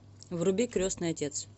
вруби крестный отец